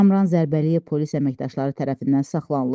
Kamran Zərbəliyev polis əməkdaşları tərəfindən saxlanılıb.